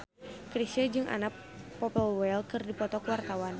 Chrisye jeung Anna Popplewell keur dipoto ku wartawan